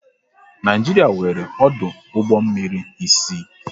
Naịjiria nwéré ọdụ ụgbọ mmiri isii